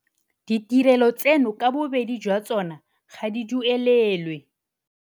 Ditirelo tseno ka bobedi jwa tsona ga di duelelwe.